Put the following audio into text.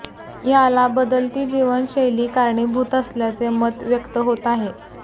याला बदलती जीवनशैली कारणीभूत असल्याचे मत व्यक्त होत आहे